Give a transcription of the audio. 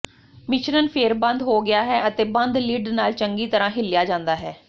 ਮਿਸ਼ਰਣ ਫਿਰ ਬੰਦ ਹੋ ਗਿਆ ਹੈ ਅਤੇ ਬੰਦ ਲਿਡ ਨਾਲ ਚੰਗੀ ਤਰ੍ਹਾਂ ਹਿੱਲਿਆ ਜਾਂਦਾ ਹੈ